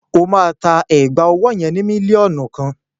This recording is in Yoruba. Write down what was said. Ó máa ta ẹ̀gbà ọwọ́ yẹn ni mílíọ̀nù kan.